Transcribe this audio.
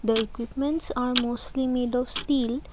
the equipments are mostly made of steel.